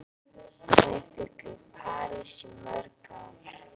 Þær bjuggu í París í mörg ár.